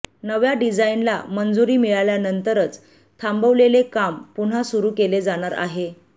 नव्या डिझाईनला मंजुरी मिळाल्यानंतरच थांबवलेले काम पुन्हा सुरू केले जाणार आहे